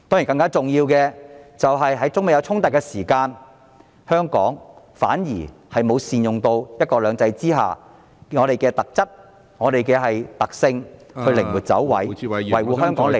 更重要的是，在中美衝突時，香港政府反而沒有善用在"一國兩制"下的特質、特性，靈活地"走位"，維護香港利益......